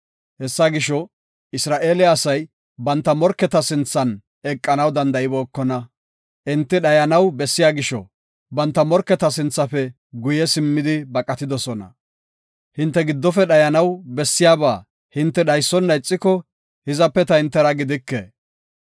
Hessa gisho, Isra7eele asay banta morketa sinthan eqanaw danda7ibookona. Enti dhayanaw bessiya gisho, banta morketa sinthafe guye simmidi baqatidosona. Hinte giddofe dhayanaw bessiyaba hinte dhaysona ixiko, hizape ta hintera gidike.”